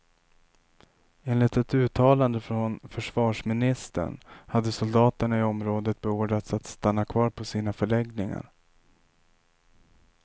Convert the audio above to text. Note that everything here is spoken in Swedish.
Enligt ett uttalande från försvarsministern hade soldaterna i området beordrats att stanna kvar på sina förläggningar.